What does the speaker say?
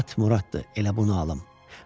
At Muradtdır, elə bunu alım.